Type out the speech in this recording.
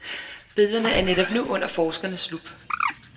Billederne er netop nu under forskernes lup.